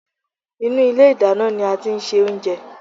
Inú ilé ìdáná ní a tí ń ṣe oúnjẹ.